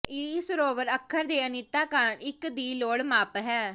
ਇਹ ਸਰੋਵਰ ਅੱਖਰ ਦੇ ਅਨਿੱਤਤਾ ਕਾਰਨ ਇੱਕ ਦੀ ਲੋੜ ਮਾਪ ਹੈ